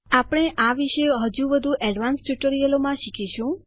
આપણે આના વિશે હજુ વધુ એડવાંસ્ડ ટ્યુટોરીયલોમાં શીખીશું